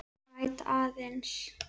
Græt aðeins.